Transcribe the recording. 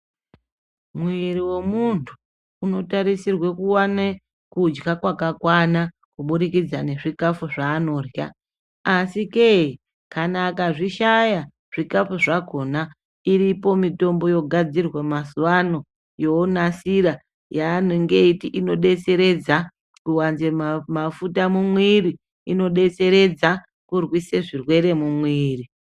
Muiri wemuntu unotarisirwa kuone kudya kwakakwana kubudikidza nezvikafu zvaanorya .ASI ke kana akazvishaya zvikafu zvakona iripo mutombo yogadzirwa mazuwa ano yonasira yanenge eiti inodetseredza kuwanza mafuta mumiri inodetseredza kurwisa zvirwere mumiri.